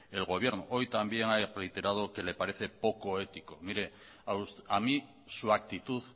el gobierno hoy también ha reiterado que le parece poco ético mire a mí su actitud